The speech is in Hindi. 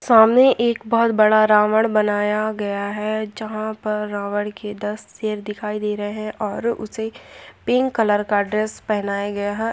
सामने एक बहुत बड़ा रावण बनाया गया है जहाँ पर रावण के दस सिर दिखाई दे रहे है और उसे पिंक कलर का ड्रेस पहनाया गया है।